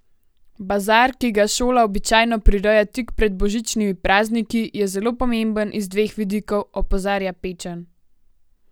Bazar, ki ga šola običajno prireja tik pred božičnimi prazniki, je zelo pomemben iz dveh vidikov, opozarja Pečan.